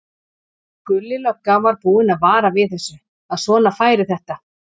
Gulli lögga var búinn að vara við þessu, að svona færi þetta.